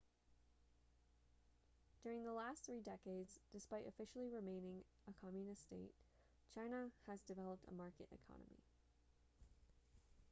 during the last three decades despite officially remaining a communist state china has developed a market economy